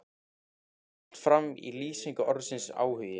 Þetta kemur allt fram í lýsingu orðsins áhugi